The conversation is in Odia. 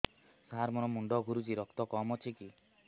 ସାର ମୋର ମୁଣ୍ଡ ଘୁରୁଛି ରକ୍ତ କମ ଅଛି କି